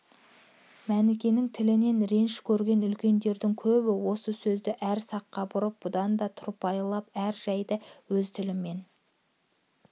мәнікенің тілінен реніш көрген үлкендердің көбі осы сөзді әр саққа бұрып бұдан да тұрпайылап әр жайды өз тілімен